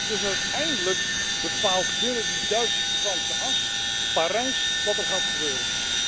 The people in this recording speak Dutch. Dus uiteindelijk bepaalt binnen die Duits Franse as Parijs wat er gaat gebeuren.